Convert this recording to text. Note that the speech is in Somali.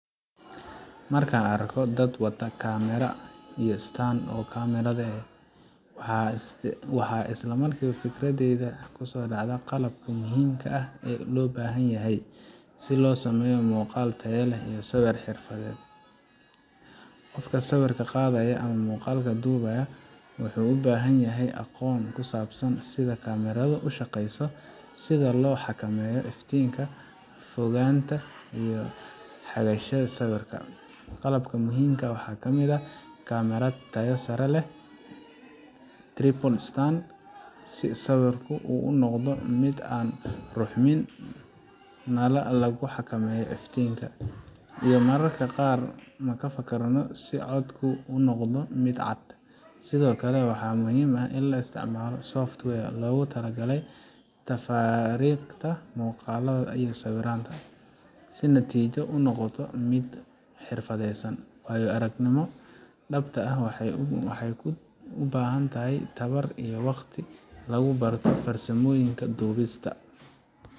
markan arko dad wato kamera iyo stand oo kamerada eh waxaa isla markiba fikradeydaa kuso dhacda qalabka muhimka ah oo loo baxan yahay si loo sameeyo muuqaal taya leh iyo sawir xirfad leh, qofka sawirka qadaya ama sawirka dubaya wuxuu ubahan yahay aqoon kusabsan sida kamerada ushaqeyso sida loo xakameeyo iftinka fogaanta iyo xagashada sawrika qalabka muhim ka ah waxaa kamid ah kamerad taya leh si sawirku unoqon mid aan ruxmin nala lagu xakameeyo iyo mararka qaar na ka fakarno inuu noqdo mid cad sidokale waxaa muhim ah in la isticmalo software loogu tala gale tafaariqda muqalada iyo sawiranta waayo arag nimo dhabta ah waxay u bahan tahay tabar iyo waqti lagu barto farsamooyinka dhubista